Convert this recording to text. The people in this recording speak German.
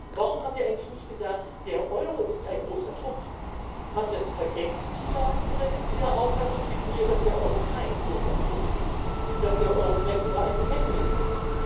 Warum haben Sie eigentlich nicht gesagt Der Euro ist ein großer Trumpf? Haben Sie das vergessen zu sagen, oder sind Sie mit mir der Auffassung, dass der Euro kein großer Trumpf ist, dass der Euro vielleicht sogar ein Hemmnis ist?